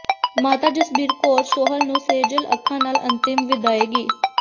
ਮਾਤਾ ਜਸਬੀਰ ਕੌਰ ਸੋਹਲ ਨੂੰ ਸੇਜਲ ਅੱਖਾਂ ਨਾਲ ਅੰਤਿਮ ਵਿਦਾਇਗੀ